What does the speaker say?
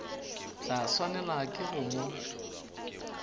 tla swanelwa ke go mo